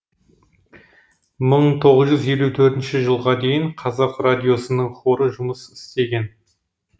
мын тоғыз жүз елу төртінші жылға дейін қазақ радиосының хоры жұмыс істеген